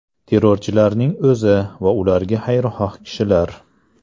Terrorchilarning o‘zi va ularga xayrixoh kishilar.